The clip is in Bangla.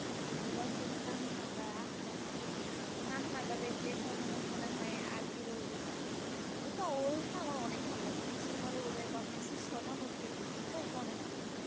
রোনাল্ডোর কাঁন্নাটা আহঃ হা, ওর কান্না টা দেখলে তো মানে মনে হয় আর কি বলবো ও তো ওর না আমার অনেক ভালো লাগে মেসির পরে ওরে বা মেসির সমান ওকে ওকে অনেক ভাল